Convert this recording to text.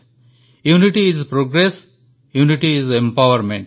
unity is progress unity is empowerment